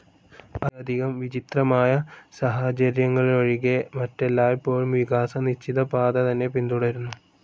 അത്യധികം വിചിത്രമായ സാഹചര്യങ്ങളിലൊഴികെ, മറ്റെല്ലായ്പ്പോഴും വികാസം നിശ്ചിത പാത തന്നെ പിന്തുടരുന്നു.